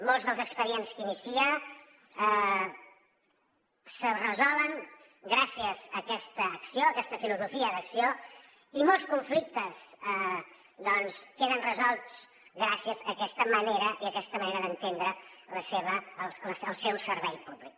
molts dels expedients que inicien es resolen gràcies a aquesta acció aquesta filosofia d’acció i molts conflictes doncs queden resolts gràcies a aquesta manera d’entendre el seu servei públic